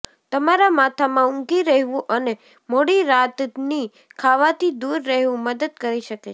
તમારા માથામાં ઊંઘી રહેવું અને મોડી રાતની ખાવાથી દૂર રહેવું મદદ કરી શકે છે